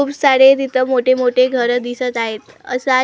खूप सारे तिथं मोठे मोठे घर दिसतं आहेत. असा--